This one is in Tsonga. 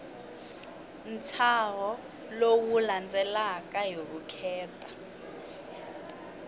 ntshaho lowu landzelaka hi vukheta